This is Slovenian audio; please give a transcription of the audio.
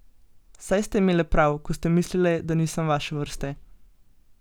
Saj ste imele prav, ko ste mislile, da nisem vaše vrste.